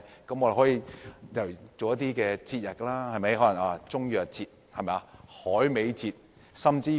我們可以舉辦一些節日，例如"中藥節"、"海味節"等。